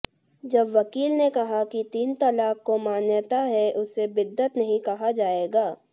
जब वकील ने कहा कि तीन तलाक को मान्यता है उसे बिद्दत नहीं कहा जाएगा